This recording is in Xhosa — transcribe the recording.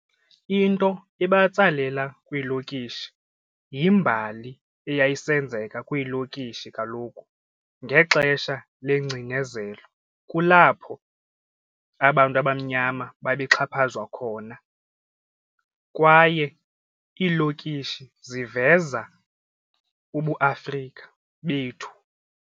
Into ebantsalela kwiilokishi yimbali eyayisenzeka kwiilokishi kaloku ngexesha lengcinezelo kulapho abantu abamnyama babexhaphazwa khona kwaye iilokishi ziveza ubuAfrika bethu.